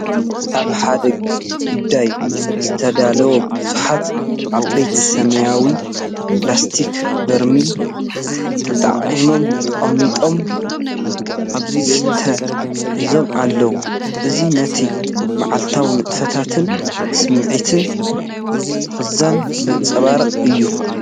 ኣብ ሓደ ጉዳይ ዝተዳለወ ብዙሓት ዓበይቲ ሰማያዊ ፕላስቲክ በርሚል ተጣእዮም ተቐሚጦም ዝስተ ሒዞም ኣለዉ። እዚ ነቲ መዓልታዊ ንጥፈታትን ስምዒት ምኽዛንን ዘንጸባርቕ እዩ።